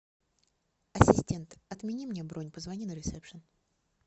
ассистент отмени мне бронь позвони на ресепшен